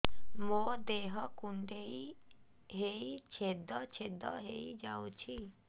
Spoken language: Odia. ମୋ ଦେହ କୁଣ୍ଡେଇ ହେଇ ଛେଦ ଛେଦ ହେଇ ଯାଉଛି